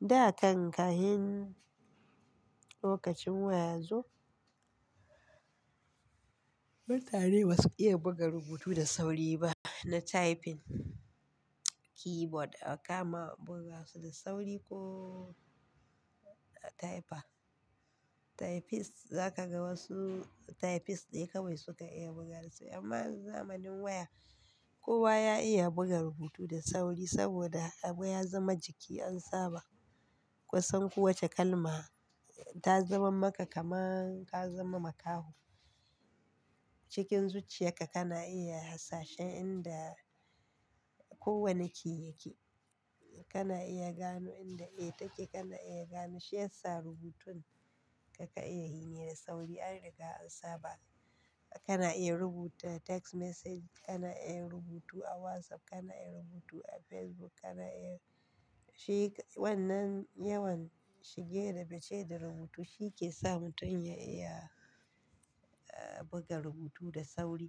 Da kan kahin lokacin waya yazo mutane ba su iya buga rubutu da sauri ba na typing keyboard a kama buga su da sauri ko a typer. Typist za ka ga wasu typist ne kawai su ka iya buga su amma yanzu zamanin waya kowa ya iya buga rubutu da sauri saboda abu ya zama jiki an saba. Kusan kowace kalma ta zama maka kamar ka zama makaho. Cikin zuciya ka kana iya hasashen inda kowane key yake. Kana iya gano inda 'a' ta ke kana iya gano shi yasa rubutun ka ka iya yinai da sauri an riga an saba. Kana iya rubuta text message, kana iya rubutu a WhatsApp, kana iya rubutu a Facebook, kana iya shi wannan yawan shige da fice da rubutu shi ke sa mutum ya iya buga rubutu da sauri.